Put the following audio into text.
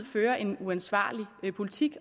føre en uansvarlig politik